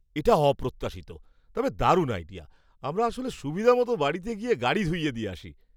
এটা অপ্রত্যাশিত, তবে দারুণ আইডিয়া! আমরা আসলে সুবিধা মতন বাড়িতে গিয়ে গাড়ি ধুইয়ে দিয়ে আসি।